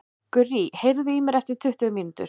Gurrý, heyrðu í mér eftir tuttugu mínútur.